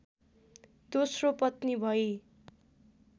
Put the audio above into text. दोस्रो पत्नी भई